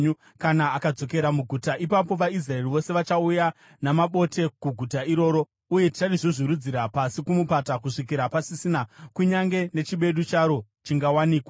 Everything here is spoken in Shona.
Kana akadzokera muguta, ipapo vaIsraeri vose vachauya namabote kuguta iroro, uye ticharizvuzvurudzira pasi kumupata kusvikira pasisina kunyange nechimedu charo chingawanikwa.”